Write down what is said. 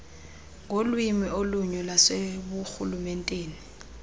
ngolwimi olunye lwaseburhulumenteni